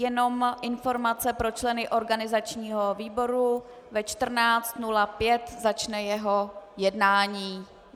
Jenom informace pro členy organizačního výboru - ve 14.05 začne jeho jednání.